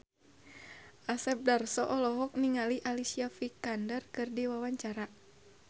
Asep Darso olohok ningali Alicia Vikander keur diwawancara